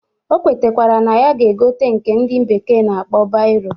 O kwetakwara na ya ga-egote nke ndị bekee na-akpọ bairo